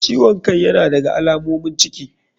Ciwon kai yana daga alamomin ciki.